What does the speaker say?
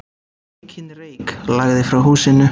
Mikinn reyk lagði frá húsinu.